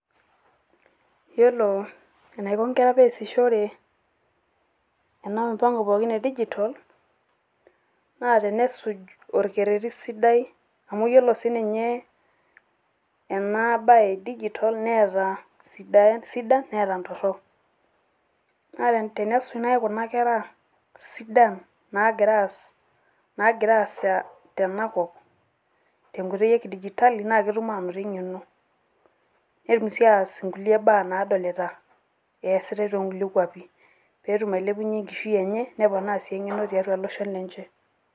iyiolo eneaiko nkera pee esujore ena mupanko pookin e digita ,naa tenesuj orkereti sidai, amu ore sii ninye ena bae e digital neeta baa sidain neeta ntorok, naa tenesuj naaji kuna kera sidan, nagira aasa tena kop, te nkoitoi e digitali, naa ketum aanotito eng'eno netum sii ataas inkulie baa, nadolita naasita too kulie kwapi. pee etum ailepunye enkishui enye.